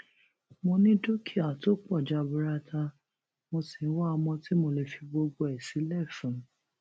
mo ní dúkìá tó pọ jaburata mo sì ń wá ọmọ tí mo lè fi gbogbo ẹ sílẹ fún